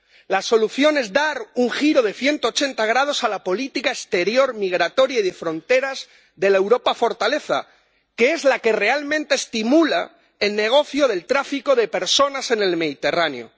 La solución es dar un giro de 180 grados a la política exterior migratoria y de fronteras de la Europa fortaleza, que es la que realmente estimula el negocio del tráfico de personas en el Mediterráneo.